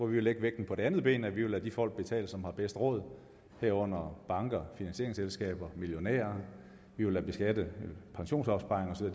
vil lægge vægten på det andet ben nemlig lade de folk betale som har bedst råd herunder banker finansieringsselskaber og millionærer vi vil beskatte pensionsopsparinger og så